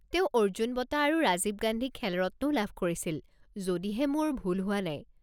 তেওঁ অৰ্জুন বঁটা আৰু ৰাজীৱ গান্ধী খেল ৰত্নও লাভ কৰিছিল, যদিহে মোৰ ভুল হোৱা নাই।